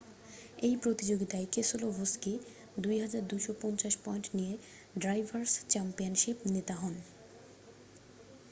এই প্রতিযোগীতায় Keselowski 2,250 point নিয়ে ড্রাইভারস' চ্যাম্পিয়নশিপ নেতা হন